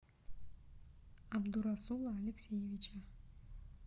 абдурасула алексеевича